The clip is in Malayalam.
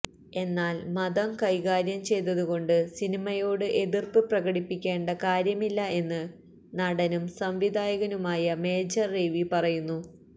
എന്നാല് മതം കൈകാര്യം ചെയ്തതുകൊണ്ട് സിനിമയോട് എതിര്പ്പ് പ്രകടിപ്പിക്കേണ്ട കാര്യമില്ല എന്ന് നടനും സംവിധായകനുമായ മേജര് രവി പറയുന്നു